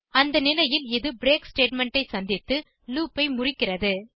அந்த நிலையில் இது பிரேக் ஸ்டேட்மெண்ட் ஐ சந்தித்து லூப் ஐ முறிக்கிறது